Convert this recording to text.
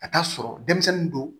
Ka taa sɔrɔ denmisɛnnin don